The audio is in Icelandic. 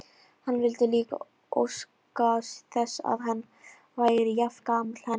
Hann vildi líka óska þess að hann væri jafngamall henni.